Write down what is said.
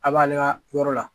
A b'ale ka yɔrɔ la